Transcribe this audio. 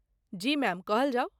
जी ma'am, कहल जाओ।